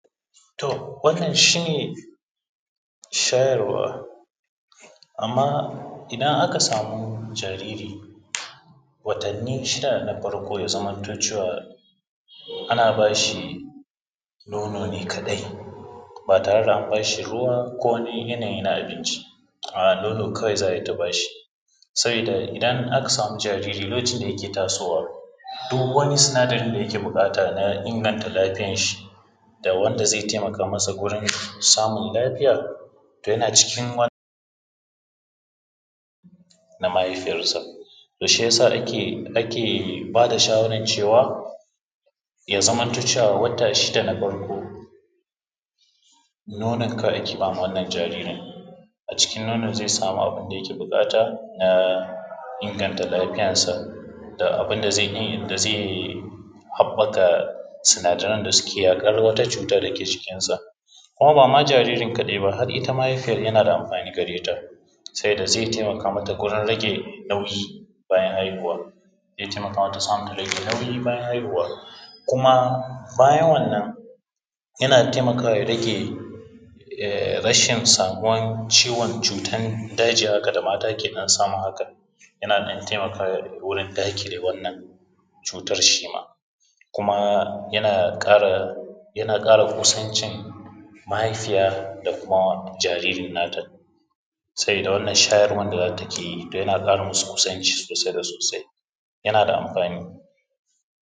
To, wannan shi ne shayarwa, amma idan aka samu jariri, watanni shida na farko ya zamanto cewa ana ba shi nono ne kaɗai ba tare da an ba shi ruwa ko wani yanayi na abinci nono kawai za a yi ta ba shi. Sabida idan aka samu jariri, lokacin da yake tasowa duk wani sinadari da yake buƙata na inganta lafiyan shi da wanda zai taimaka masa wajen samin lafiya to yana cikin na mahaifiyar sa. To shi yasa ake ake ba da shawaran cewa ya zamanto cewa wata shida na farko, nonon kawai ake bama wannan jaririn, a cikin nonon zai samu abun da yake buƙata na inganta lafiyansa da abun da zai da zai haɓɓaka sinadaran da suke yaƙar wata cuta da ke jikinsa, kuma ba ma jaririn kaɗai ba har ita mahaifiyar yana da amfani gare ta, sabida zai taimaka mata gurin rage nauyi bayan haihuwan, zai taimaka mata rage nauyi bayan haihuwa, kuma bayan wannan yana taimakawa ya rage [aii] rashin samuwan ciwon cutan daji haka da mata ke ɗan samu hakan, yana ɗan taimakawa wurin daƙile wannan cutar shima, kuma yana ƙara yana ƙara kusancin mahaifiya da kuma jaririn nata, sabida wannan shayarwan da ta ke yi yana ƙatra masu kusanci sosai da soasi, yana da amfani.